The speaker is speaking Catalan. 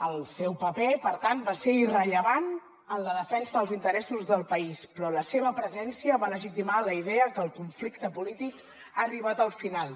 el seu paper per tant va ser irrellevant en la defensa dels interessos del país però la seva presència va legitimar la idea que el conflicte polític ha arribat al final